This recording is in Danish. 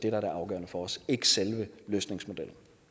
er det afgørende for os ikke selve løsningsmodellen